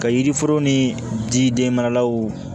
Ka yiri foro ni jidenmaralaw